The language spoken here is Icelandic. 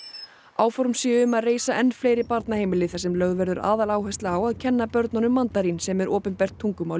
áform séu um að reisa enn fleiri barnaheimili þar sem lögð verður aðal áhersla á að kenna öllum börnum mandarín sem er opinbert tungumál